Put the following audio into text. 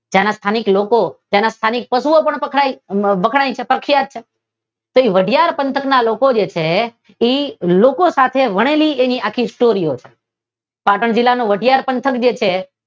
ત્યાના સ્થાનિક લોકો ત્યાના સ્થાનિક પશુઓ પણ વખણાય છે પ્રખ્યાત છે તેવી વાઢિયાર પંથકના લોકો જે છે તે એ લોકો સાથે વણેલી તેની સ્ટોરીઓ છે. પાટણ જિલ્લાનું વાઢિયાર પંથક જે છે